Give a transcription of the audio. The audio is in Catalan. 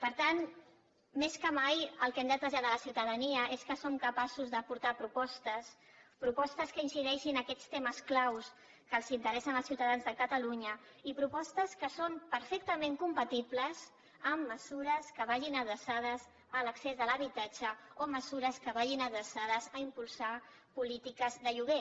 per tant més que mai el que hem de traslladar a la ciutadania és que som capaços d’aportar propostes propostes que incideixin en aquests temes clau que els interessa als ciutadans de catalunya i propostes que són perfectament compatibles amb mesures que vagin adreçades a l’accés de l’habitatge o mesures que vagin adreçades a impulsar polítiques de lloguer